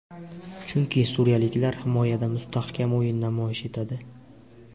Chunki suriyaliklar himoyada mustahkam o‘yin namoyish etadi.